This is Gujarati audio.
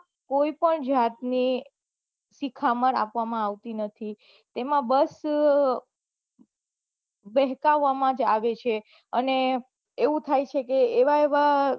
કોઈ પન જાત ની શિખામણ આપવામાં આવતી નથી તેમાં બસ બેહ્કવામાં જ આવે છે અને એવું થાય છે કે એવા એવા